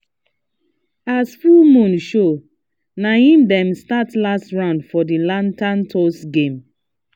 as full moon show na hi dem start last round for the lantern toss game